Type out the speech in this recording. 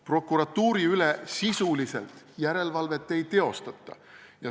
Prokuratuuri üle sisuliselt järelevalvet ei teostata.